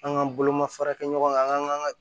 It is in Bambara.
An k'an bolomafarakɛ ɲɔgɔn an k'an ka